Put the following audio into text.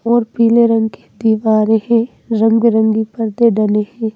और पीले रंग के दीवारें है रंग-बिरंगी परते डली है।